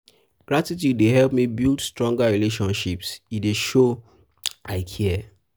gratitude dey help me build stronger relationships; e dey show i show i care.